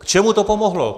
K čemu to pomohlo?